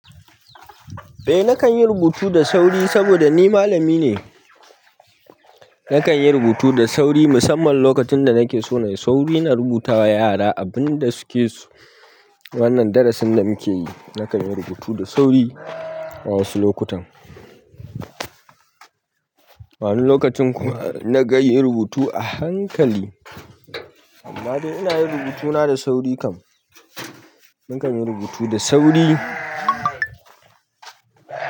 Eh nakan yi rubutu da sauri saboda ni malami ne. Nakan yi rubutu da sauri musamman lokacin da nake so na yi sauri na rubuta wa yara abin da suke so. Wannan darasin da muke yi nakan yi rubutu da sauri wa ansu lokutan. Wani lokacin kuma na kanyi rubutu a hankali. Amma dai ina yin rubutuna da sauri kam. Nakan yi rubutu da sauri.